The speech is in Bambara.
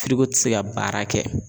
ti se ka baara kɛ.